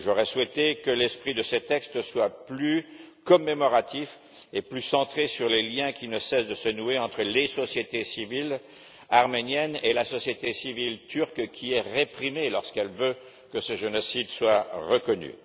J'aurais souhaité que l'esprit de ces textes soit plus commémoratif et plus centré sur les liens qui ne cessent de se nouer entre la société civile arménienne et la société civile turque, victime de répression lorsqu'elle veut que ce génocide soit reconnu.